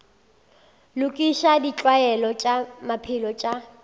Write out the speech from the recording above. lokiša ditlwaelo tša maphelo tša